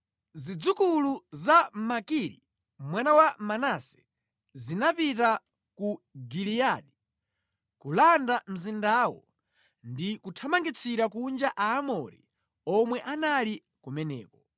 Zidzukulu za Makiri mwana wa Manase zinapita ku Giliyadi kulanda mzindawo ndi kuthamangitsira kunja Aamori omwe anali kumeneko.